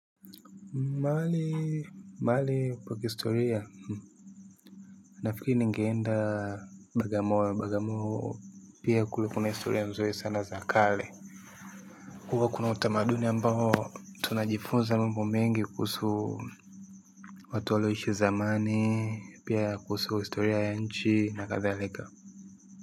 Mahali, mahali pa kihistoria. Nafikiri ningeenda bagamoyo, bagamoyo pia kulikuwa na historia nzuri sana za kale. Huwa kuna utamaduni ambao tunajifunza mambo mengi kuhusu watu walioishi zamani, pia kuhusu historia ya nchi na kathalika.